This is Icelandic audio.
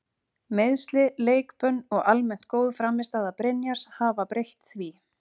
Meiðsli, leikbönn og almennt góð frammistaða Brynjars hafa breytt því.